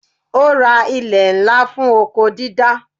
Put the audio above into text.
Ó ra ilè ńlá fún oko dídá.